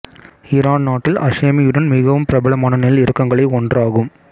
Iran நாட்டில் ஹஷேமியுடனும் மிகவும் பிரபலமான நெல் இரகங்களை ஒன்றாகும்